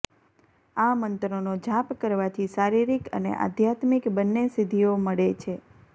આ મંત્રનો જાપ કરવાથી શારીરિક અને આધ્યાત્મિક બંને સિદ્ધિઓ મળે છે